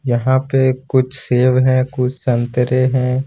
यहां पे कुछ सेव हैं कुछ संतरे हैं।